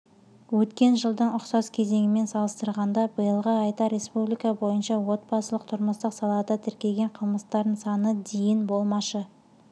өткен жылдың ұқсас кезеңімен салыстырғанда биылғы айда республика бойынша отбасылық-тұрмыстық салада тіркелген қылмыстардың саны дейін болмашы